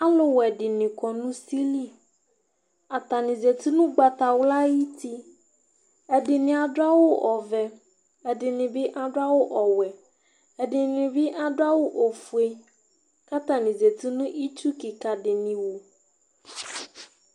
Aluwɛɖiŋi ƙɔ ŋʊsili Atanɩ zatɩ ŋʊ ʊgbatawla ayuti Ɛɖʊ aɖʊ awu ɔʋɛ, ɛɖinibi aɖʊ aɖu awʊ ɔwɛ, ɛɖinɩ aɖu awʊ ofoé Ƙatanɩ zatɩ ŋʊ ɩtsu ƙɩƙadinɩ wʊ